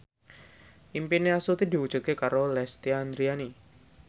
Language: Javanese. impine Astuti diwujudke karo Lesti Andryani